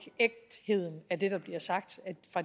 ægtheden af det der bliver sagt af